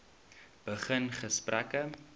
begin gesprekke